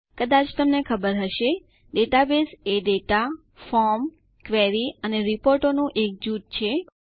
કદાચ તમને ખબર હશે ડેટાબેઝ એ ડેટાફોર્મ ક્વેરી અને રિપોર્ટો નું એક જૂથ છે